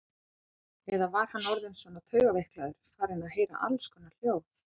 Eða var hann orðinn svona taugaveiklaður, farinn að heyra allskonar hljóð?